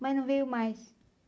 Mas não veio mais.